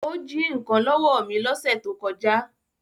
Ó jí nǹkan lọ́wọ́ mi lọ́sẹ̀ tó kọjá